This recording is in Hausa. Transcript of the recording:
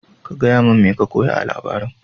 ka gayamin mai ka koya a labarin.